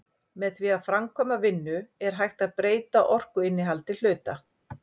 með því að framkvæma vinnu er hægt að breyta orkuinnihaldi hluta